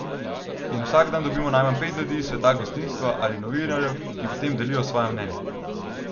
In vsak dan dobimo najmanj pet ljudi iz sveta gostinstva ali novinarjev, ki potem delijo svoja mnenja.